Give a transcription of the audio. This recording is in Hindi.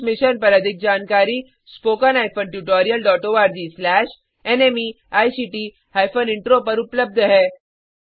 इस मिशन पर अधिक जानकारी httpspoken tutorialorgNMEICT इंट्रो पर उपलब्ध है